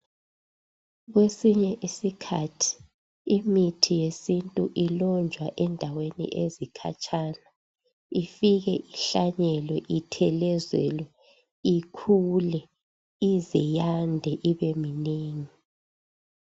kwesinye isikhathi imithi yesintu ilonjwa ezindaweni ezikhatshana ifike ihlanyelwe ithelezelwe ikhule ize yande ibeminengi